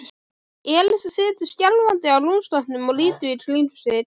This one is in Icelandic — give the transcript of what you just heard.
Elías situr skjálfandi á rúmstokknum og lítur í kringum sig.